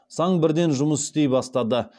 саң бірден жұмыс істей бастады